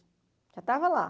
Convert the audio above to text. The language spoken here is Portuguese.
Já estava lá.